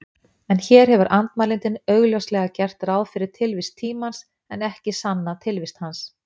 En hér hefur andmælandinn augljóslega gert ráð fyrir tilvist tímans, en ekki sannað tilvist hans.